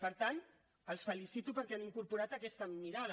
per tant els felicito perquè han incorporat aquesta mirada